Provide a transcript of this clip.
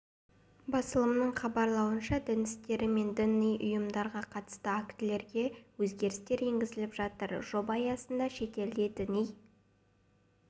басылымның хабарлауынша дін істері мен діни ұйымдарға қатысты актілерге өзгерістер енгізіліп жатыр жоба аясында шетелде діни